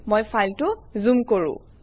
মই ফাইলটো জুম কৰোঁ